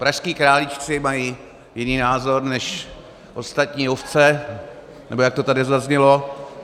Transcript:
Pražští králíčci mají jiný názor než ostatní ovce, nebo jak to tady zaznělo.